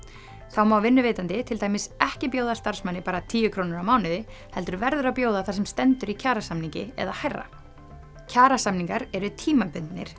þá má vinnuveitandi til dæmis ekki bjóða starfsmanni bara tíu krónur á mánuði heldur verður að bjóða það sem stendur í kjarasamningi eða hærra kjarasamningar eru tímabundnir